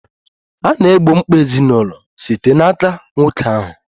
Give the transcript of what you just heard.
A na-egbo mkpa ezinụlọ site n'aka nwoke ahụ.